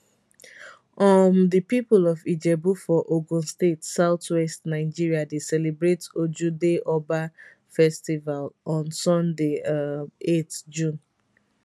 um di pipo of ijebu for ogun state southwest nigeria dey celebrate ojude oba festival on sunday um 8 june